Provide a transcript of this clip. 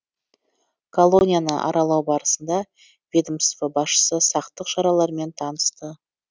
колонияны аралау барысында ведомство басшысы сақтық шараларымен танысты